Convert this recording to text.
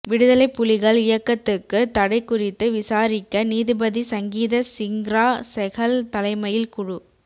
விடுதலைப்புலிகள் இயக்கத்துக்கு தடை குறித்து விசாரிக்க நீதிபதி சங்கீத சிங்ரா செகல் தலைமையில் குழு